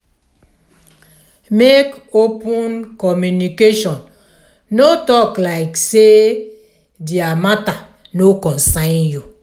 make open communication no talk like sey their matter no comcern you